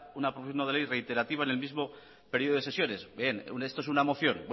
una proposición no de ley reiterativa en el mismo período de sesiones bien esto es una moción